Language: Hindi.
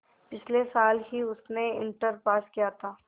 पिछले साल ही उसने इंटर पास किया था